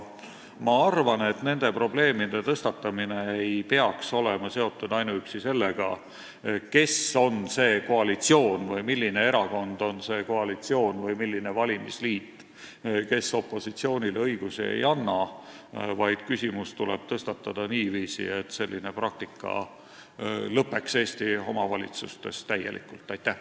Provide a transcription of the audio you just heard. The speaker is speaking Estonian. Ma arvan, et nende probleemide tõstatamine ei peaks olema seotud ainuüksi sellega, kes või milline erakond või valimisliit on selles koalitsioonis, kes opositsioonile õigusi ei anna, vaid küsimus tuleb tõstatada niiviisi, et selline praktika Eesti omavalitsustes täielikult lõpeks.